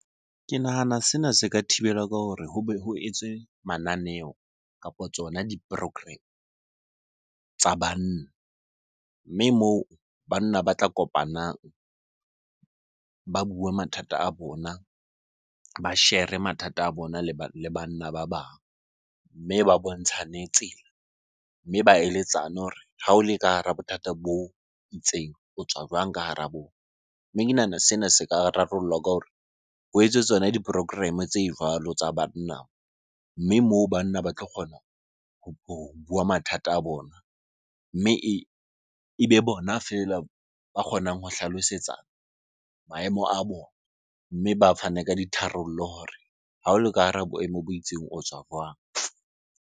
Ke nahana sena se ka thibelwa ka hore hobe ho etswe mananeo kapo tsona di-program tsa banna. Mme moo banna ba tla kopanang ba bua mathata a bona, ba share-e mathata a bona le banna ba bang. Mme ba bontshane tsela, mme ba eletsane hore ha o le ka hara bothata bo itseng o tswa jwang ka hara bona? Mme ke nahana sena se ka rarollwa ka hore ho etsetswane tsona di-program-e tse jwalo tsa banna mme moo banna ba tlo kgona ho bua mathata a bona. Mme ebe bona feela ba kgonang ho hlalosetsana maemo a bona mme ba fane ka ditharollo hore ha o le ka hara boemo bo itseng o tswa jwang?